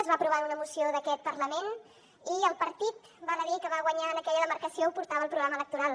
es va aprovar en una moció d’aquest parlament i el partit val a dir que va guanyar en aquella demarcació ho portava al programa electoral